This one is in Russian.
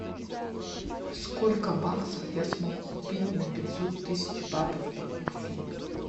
сколько баксов я смогу купить на пятьсот тысяч батов по курсу